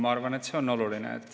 Ma arvan, et see on oluline.